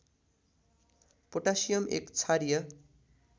potassium एक क्षारीय